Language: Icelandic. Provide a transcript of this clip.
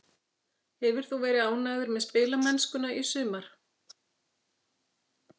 Hefur þú verið ánægður með spilamennskuna í sumar?